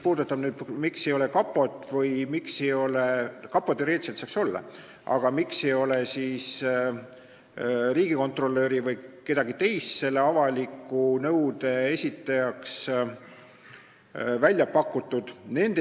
Nüüd sellest, miks siin ei ole kapot – kapo teoreetiliselt saaks olla –, riigikontrolöri või kedagi teist selle avaliku nõude esitajana välja pakutud.